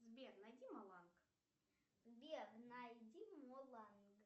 сбер найди маланг